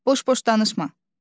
Boş-boş danışma.